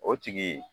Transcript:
O tigi